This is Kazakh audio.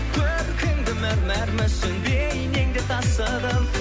көркіңді мәрмәр мүсін бейнеңде тасыдым